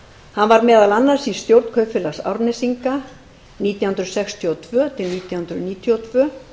hann var meðal annars í stjórn kaupfélags árnesinga nítján hundruð sextíu og tvö nítján hundruð níutíu og tvö